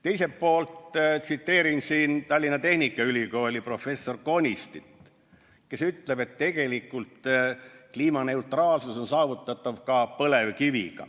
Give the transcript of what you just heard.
Teiselt poolt ma tsiteerin Tallinna Tehnikaülikooli professorit Alar Konistit, kes ütleb, et tegelikult kliimaneutraalsus on saavutatav ka põlevkiviga.